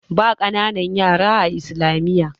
ba kananan yara a islamiyyar